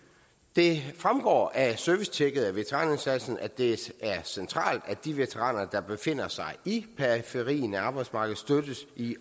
det fremgår af servicetjekket af veteranindsatsen at det er centralt at de veteraner der befinder sig i periferien af arbejdsmarkedet støttes i